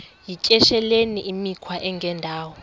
yityesheleni imikhwa engendawo